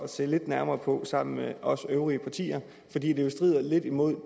se lidt nærmere på sammen med os i de øvrige partier da det jo strider lidt imod